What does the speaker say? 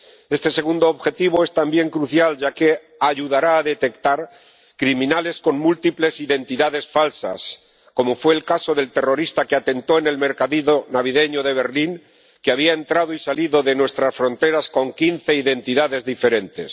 Este segundo objetivo es también crucial, ya que ayudará a detectar criminales con múltiples identidades falsas, como fue el caso del terrorista que atentó en el mercadillo navideño de Berlín, que había entrado y salido de nuestras fronteras con quince identidades diferentes.